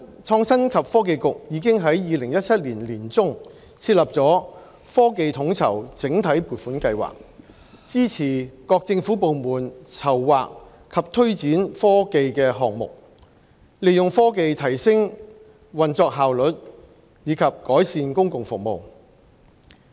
創新及科技局已在2017年年中設立"科技統籌"計劃，支持各政府部門籌劃及推展科技項目，利用科技提升運作效率及改善公共服務。